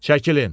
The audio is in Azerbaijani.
Çəkilin!